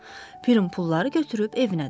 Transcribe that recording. Pirim pulları götürüb evinə dönür.